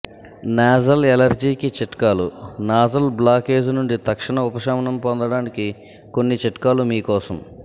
nasal allergy కి చిట్కాలు nasal blockage నుండి తక్షణ ఉపశమనం పొందడానికి కొన్ని చిట్కాలు మీకోసం